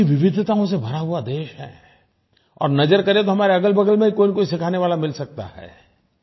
कितनी विविधताओं से भरा हुआ देश है और नज़र करें तो हमारे अगलबगल में ही कोई न कोई सिखाने वाला मिल सकता है